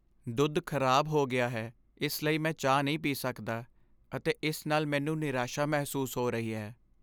ਦੁੱਧ ਖਰਾਬ ਹੋ ਗਿਆ ਹੈ ਇਸ ਲਈ ਮੈਂ ਚਾਹ ਨਹੀਂ ਪੀ ਸਕਦਾ ਅਤੇ ਇਸ ਨਾਲ ਮੈਨੂੰ ਨਿਰਾਸ਼ਾ ਮਹਿਸੂਸ ਹੋ ਰਹੀ ਹੈ।